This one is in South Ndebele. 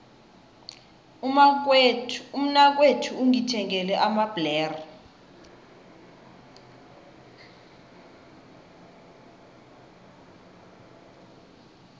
umnakwethu ungithengele amabhlere